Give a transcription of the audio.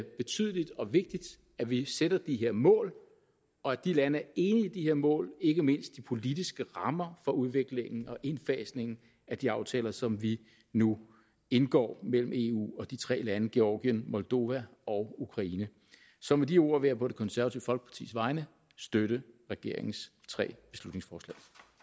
betydeligt og vigtigt at vi sætter de her mål og at de lande er enige i de her mål ikke mindst de politiske rammer for udviklingen og indfasningen af de aftaler som vi nu indgår mellem eu og de tre lande georgien moldova og ukraine så med de ord vil jeg på det konservative folkepartis vegne støtte regeringens tre beslutningsforslag